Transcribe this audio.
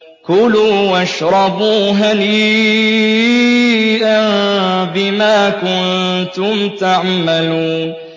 كُلُوا وَاشْرَبُوا هَنِيئًا بِمَا كُنتُمْ تَعْمَلُونَ